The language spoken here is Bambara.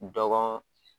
Dɔgɔ